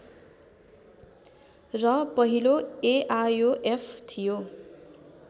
र पहिलो एआयोएफ थियो